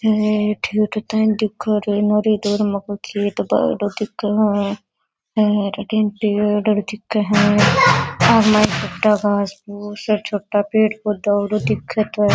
आठी हरे पेड़ दिखे है और छोटा घास फुस और छोटा पेड़ पौधा --